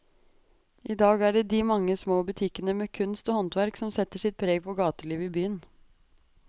I dag er det de mange små butikkene med kunst og håndverk som setter sitt preg på gatelivet i byen.